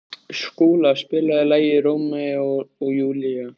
Skúla, spilaðu lagið „Rómeó og Júlía“.